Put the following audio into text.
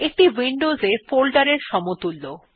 এইটি উইন্ডোজে ফোল্ডারের সমতুল্য